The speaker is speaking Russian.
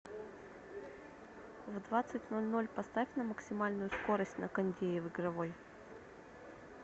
в двадцать ноль ноль поставь на максимальную скорость на кондее в игровой